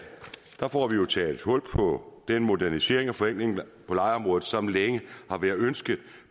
får vi jo taget hul på den modernisering og forenkling på lejeområdet som længe har været ønsket